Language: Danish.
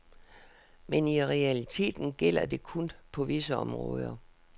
Men i realiteten gælder det kun på visse områder.